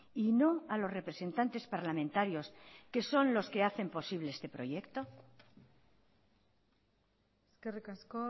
y no a los representantes parlamentarios que son los que hacen posible este proyecto eskerrik asko